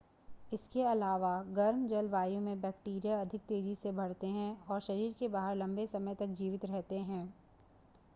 इसके अलावा गर्म जलवायु में बैक्टीरिया अधिक तेज़ी से बढ़ते हैं और शरीर के बाहर लंबे समय तक जीवित रहते हैं